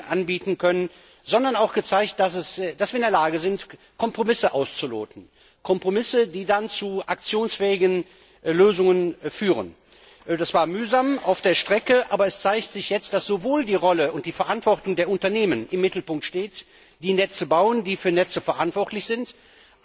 anbieten können, sondern auch gezeigt haben, dass wir in der Lage sind, Kompromisse auszuloten, die dann zu aktionsfähigen Lösungen führen das war mühsam auf der Strecke, aber es zeigt sich jetzt, dass sowohl die Rolle und die Verantwortung der Unternehmen im Mittelpunkt stehen, die Netze bauen, die für Netze verantwortlich sind, als